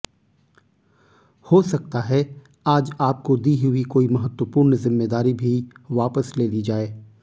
हो सकता है आज आपको दी हुई कोई महत्वपूर्ण जिम्मेदारी भी वापस ले ली जाए